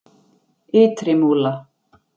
Ytri Múla